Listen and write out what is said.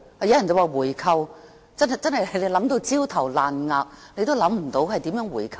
有人建議回購，但真是想到焦頭爛額也想不到可以如何回購。